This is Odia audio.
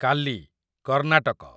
କାଲି , କର୍ଣ୍ଣାଟକ